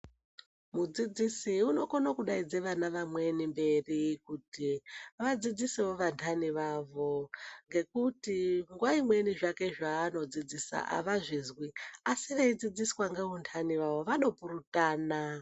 Mudzidzisi unokona kudaidza vamweni vana mberi Kuti vadzidzisewo vandani vavo ngekuti nguwa imweni zvake zvanodzidzisa Avazvizwi asi veidzidziswa vandani vavo vanopuritana.